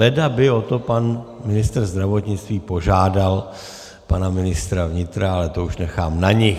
Leda by o to pan ministr zdravotnictví požádal pana ministra vnitra, ale to už nechám na nich.